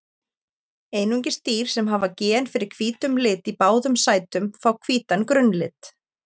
Einungis dýr sem hafa gen fyrir hvítum lit í báðum sætum fá hvítan grunnlit.